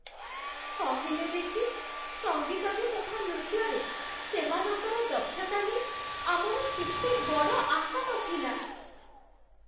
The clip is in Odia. କହିଲେ ଦେଖି, ସଙ୍ଗୀତରେ ତଥା ନୃତ୍ୟରେ ସେମାନଙ୍କର ଦକ୍ଷତା ନେଇ ଆମର କେତେ ବଡ଼ ଆଶା ନଥିଲା!